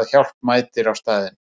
að hjálp mætir á staðinn?